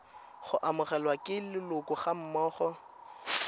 go amogelwa ke leloko gammogo